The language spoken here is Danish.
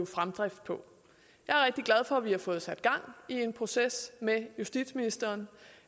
fremdrift på jeg er rigtig glad for at vi har fået sat gang i en proces med justitsministeren